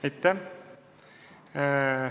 Aitäh!